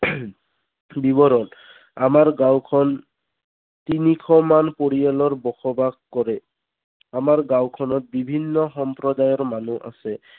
বিৱৰণ আমাৰ গাঁওখন তিনিশ মান পৰিয়ালৰ বসবাস কৰে। আমাৰ গাঁওখনত বিভিন্ন সম্প্ৰদায়ৰ মানুহ আছে।